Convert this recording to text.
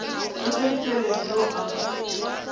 ka ke dikeledi yo a